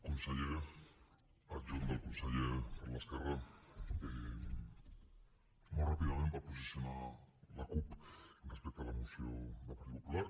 conseller adjunt del conseller per l’esquerra molt ràpidament per posicionar la cup respecte a la moció del partit popular